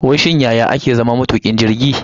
Wai shin yaya ake zama matukin jirgi ne?